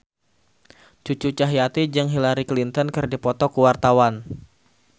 Cucu Cahyati jeung Hillary Clinton keur dipoto ku wartawan